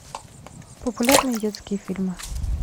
популярные детские фильмы